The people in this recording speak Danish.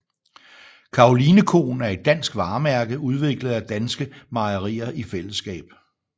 Karolinekoen er et dansk varemærke udviklet af danske mejerier i fællesskab